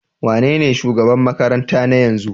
Wanene shugaban makarantar na yanzu?